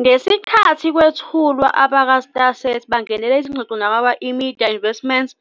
Ngesikhathi kwethulwa, abakwaStarSat bangenele izingxoxo nabakwa-eMedia Investments